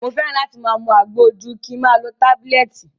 Mo fẹ́ràn láti mu àgbo ju kin ma lo tábílẹ̀tì.